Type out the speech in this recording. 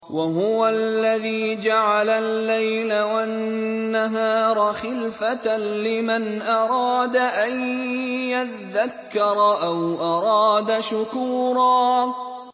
وَهُوَ الَّذِي جَعَلَ اللَّيْلَ وَالنَّهَارَ خِلْفَةً لِّمَنْ أَرَادَ أَن يَذَّكَّرَ أَوْ أَرَادَ شُكُورًا